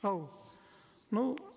ау ну